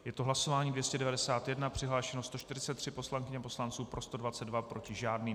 Je to hlasování 291, přihlášeno 143 poslankyň a poslanců, pro 122, proti žádný.